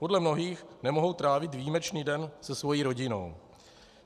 Podle mnohých nemohou trávit výjimečný den se svou rodinou.